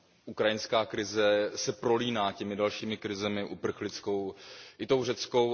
Ukrajinská krize se prolíná těmi dalšími krizemi uprchlickou i řeckou.